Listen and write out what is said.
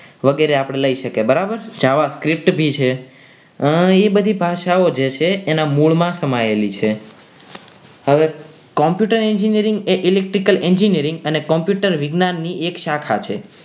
વગેરે આપણે લઈ શકાય બરાબર જાવા script ભી છે એ બધી ભાષાઓ જે છે એના મૂળ માં સમાયેલી છે હવે computer engineering એ electric engineering અને Computer વિજ્ઞાનની એક શાખા છે.